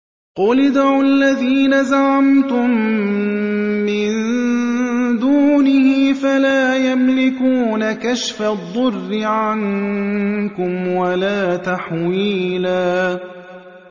قُلِ ادْعُوا الَّذِينَ زَعَمْتُم مِّن دُونِهِ فَلَا يَمْلِكُونَ كَشْفَ الضُّرِّ عَنكُمْ وَلَا تَحْوِيلًا